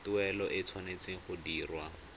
tuelo e tshwanetse go dirwa